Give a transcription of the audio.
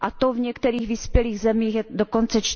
V některých vyspělých zemích je to dokonce